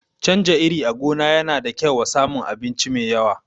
Canja iri a gona yana da kyau wa samun abinci mai yawa